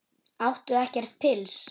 Áttu ekkert pils?